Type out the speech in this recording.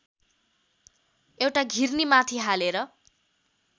एउटा घिर्नीमाथि हालेर